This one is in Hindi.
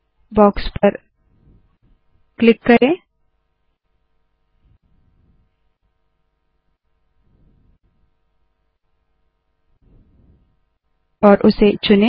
बॉक्स पर क्लिक करे और उसे चुने